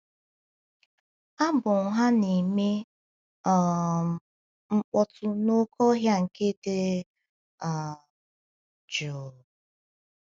Abụ ha na - eme um mkpọtụ n’oké ọhịa nke dị um jụụ..